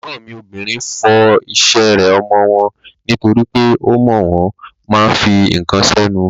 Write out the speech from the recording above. Ègbọ́n mi obìnrin fọ ìṣeré ọmọ wọn nítorípé ọmọ wọn ma ń fi ǹkan sẹ́nu.